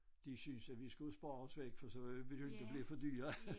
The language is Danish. De syntes at vi skulle spares væk for så ville vi jo inte blive for dyre